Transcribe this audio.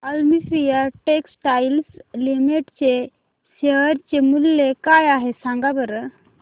Olympia textiles limited चे share मूल्य काय आहे सांगा बरं